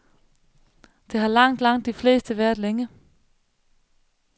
Det har langt, langt de fleste været længe.